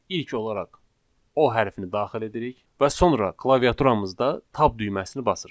İlk olaraq O hərfini daxil edirik və sonra klaviaturamızda tab düyməsini basırıq.